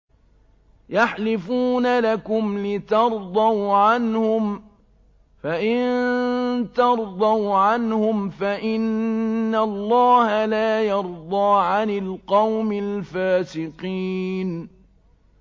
يَحْلِفُونَ لَكُمْ لِتَرْضَوْا عَنْهُمْ ۖ فَإِن تَرْضَوْا عَنْهُمْ فَإِنَّ اللَّهَ لَا يَرْضَىٰ عَنِ الْقَوْمِ الْفَاسِقِينَ